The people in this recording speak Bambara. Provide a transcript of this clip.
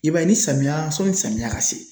I b'a ye ni samiya ,sɔnni samiya ka se.